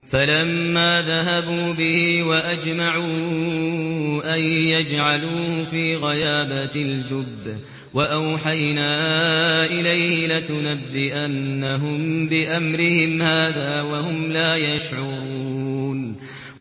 فَلَمَّا ذَهَبُوا بِهِ وَأَجْمَعُوا أَن يَجْعَلُوهُ فِي غَيَابَتِ الْجُبِّ ۚ وَأَوْحَيْنَا إِلَيْهِ لَتُنَبِّئَنَّهُم بِأَمْرِهِمْ هَٰذَا وَهُمْ لَا يَشْعُرُونَ